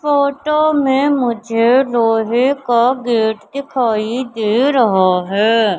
Photo में मुझे लोहे का गेट दिखाई दे रहा है।